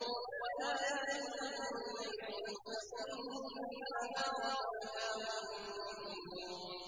وَآيَةٌ لَّهُمُ اللَّيْلُ نَسْلَخُ مِنْهُ النَّهَارَ فَإِذَا هُم مُّظْلِمُونَ